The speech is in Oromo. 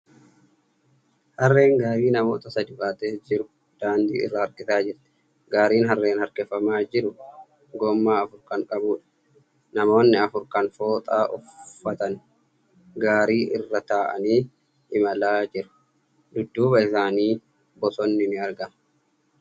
Harreen gaarii namoota sadii baatee jiru daandii irra harkisaa jirti. Gaariin harreen harkifamaa jiru gommaa afur kan qabuudha. Namoonni afur kan fooxaa uffatan garrii irra taa'anii imalaa jiru. Dudduuba isaaniitti bosonni ni argama.